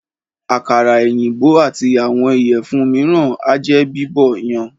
Àkàrà èyìnbó àti àwọn ìyẹ̀fun míràn ájẹ́ Bíbọ̀ yan.